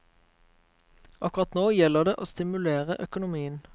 Akkurat nå gjelder det å stimulere økonomien.